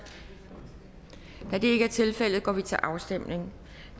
da det ikke er tilfældet går vi til afstemning